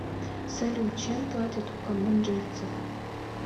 салют чем платят у камбоджийцев